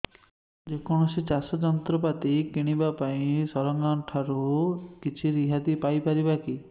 ଯେ କୌଣସି ଚାଷ ଯନ୍ତ୍ରପାତି କିଣିବା ପାଇଁ ସରକାରଙ୍କ ଠାରୁ କିଛି ରିହାତି ପାଇ ପାରିବା କି